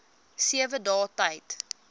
sewe dae tyd